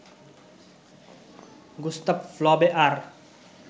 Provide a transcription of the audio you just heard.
Gustave Flaubert